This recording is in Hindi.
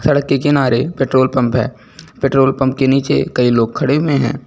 सड़क के किनारे पेट्रोल पंप है पेट्रोल पंप के नीचे कई लोग खड़े हुए हैं।